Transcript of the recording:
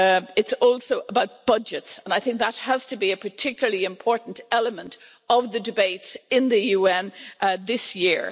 It's also about budgets, and that has to be a particularly important element of the debates in the UN this year.